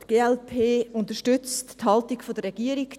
Die glp unterstützt die Haltung der Regierung.